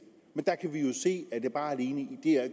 men vi kan se